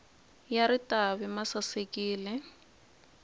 ya ritavi ma sasekile